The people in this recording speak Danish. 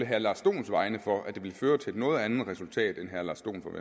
herre lars dohns vegne for at vil føre til et noget andet resultat